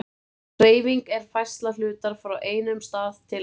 Hreyfing er færsla hlutar frá einum stað til annars.